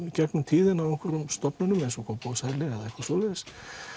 í gegnum tíðina á einhverjum stofnunum eins og Kópavogshæli eða eitthvað svoleiðis